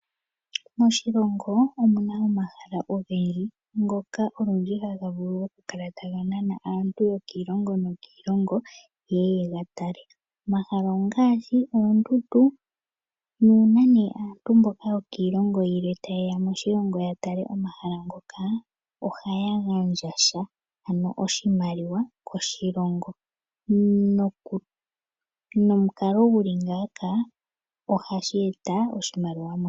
Moshilongo omuna omuna omahala ogendji ngoka olundji haga vulu okukala taga nana aantu yokiilongo nokiilongo yeye yega tale. Omahala ngaka ongaashi oondundu nuuna nee aantu yokiilongo yilwe tayeya ya moshilongo ya tale omahala ngaka, ohaya gandja sha ano oshimaliwa koshilongo. Nomukalo guli ngaaka oha gu eta oshimaliwa.